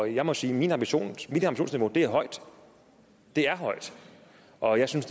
jeg må sige at mit ambitionsniveau er højt og jeg synes